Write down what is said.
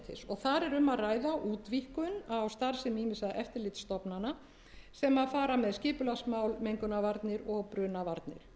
þar er um að ræða útvíkkun á starfsemi ýmissa eftirlitsstofnana sem fara með skipulagsmál mengunarvarnir og brunavarnir